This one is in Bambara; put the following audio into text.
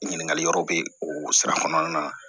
Ɲininkali yɔrɔ bɛ o sira kɔnɔna na